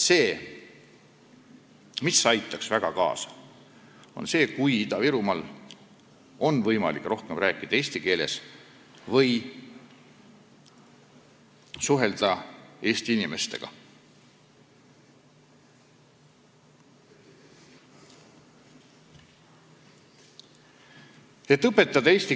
Väga aitaks kaasa see, kui Ida-Virumaal oleks võimalik rohkem eesti keeles rääkida või eesti inimestega suhelda.